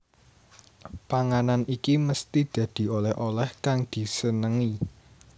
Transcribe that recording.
Panganan iki mesthi dadi oleh oleh kang disenengi